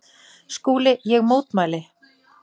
SKÚLI: Ég mótmæli!